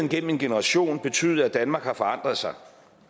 igennem en generation betydet at danmark har forandret sig